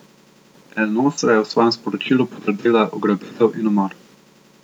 El Nosra je v svojem sporočilu potrdila ugrabitev in umor.